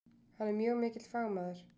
Hann er mjög mikill fagmaður.